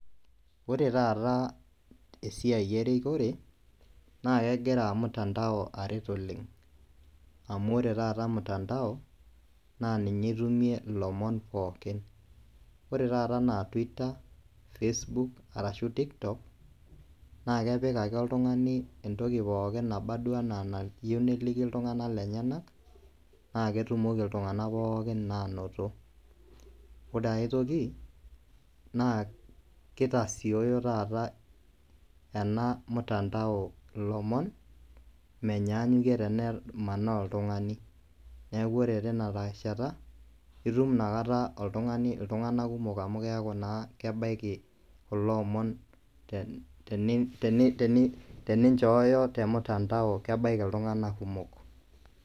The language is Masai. Ore tataa esiai erikore naakegira mutandao aret oleng', amu ore taata  mutandao naaninye itumie ilomon pookin. Ore taata anaa Twitter, Facebook, arashu TikTok naakepik ake oltung'ani entoki pooki naba duo ana nayou neliki iltung'ana lenyenak naaketumoki iltung'ana pookin naanoto. Ore aitoki naa keitasioyo taata ena mutandao ilomon menyaanyukie tenemanaa oltung'ani,, neaku ore tinarishata itum nakata oltung'ani iltung'ana kumok amu keaku naa kebaiki kuloomon [ten-teni, teni] teninchooyo temutandao kebaiki iltung'ana kumok.